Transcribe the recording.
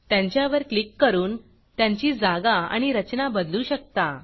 त्यांच्यावर क्लिक करून त्यांची जागा आणि रचना बदलू शकता